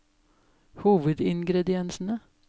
hovedingrediensene